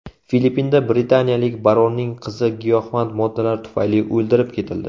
Filippinda britaniyalik baronning qizi giyohvand moddalar tufayli o‘ldirib ketildi.